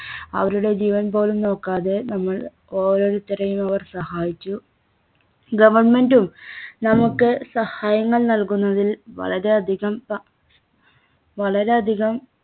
അവരുടെ ജീവൻപോലും നോക്കാതെ നമ്മൾ ഓരോരുത്തരെയും അവർ സഹായിച്ചു. Government ഉം നമുക്ക് സഹായങ്ങൾ നൽകുന്നതിൽ വളരെ അധികം വ വളരെ അധികം